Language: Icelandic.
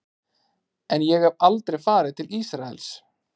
En ég hef aldrei farið til Ísraels.